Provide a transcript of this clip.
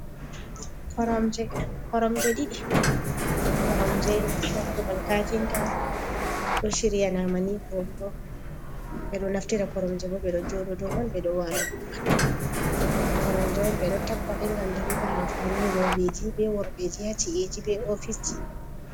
Koromje ɗiɗi, koromje bo hababal kafinta ɗo shiryanama ni voɗugo beɗo naftira koromje bo beɗo joɗo do man ɓeɗo wala doman koromje ɓeɗo tappaɗe ngam dalila amfani roɓeji be worɓeji yaci eji be ofisji.